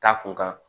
Taa kun kan